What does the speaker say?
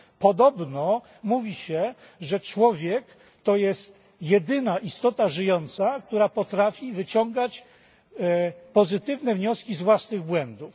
Podobno mówi się, że człowiek to jest jedyna istota żyjąca, która potrafi wyciągać pozytywne wnioski z własnych błędów.